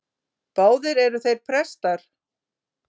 Báðir eru þeir prestar.